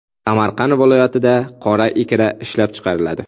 Samarqand viloyatida qora ikra ishlab chiqariladi.